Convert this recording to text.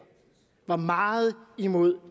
var meget imod